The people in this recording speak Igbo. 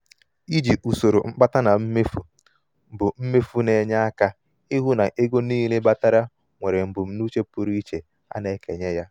iji usoro mkpata na mmefu bụ mmefu bụ efu na-enye aka ịhụ na ego niile batara nwere mbunuche pụrụ iche a na-ekenye ya.